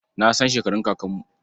Na san shekarun kakanmu.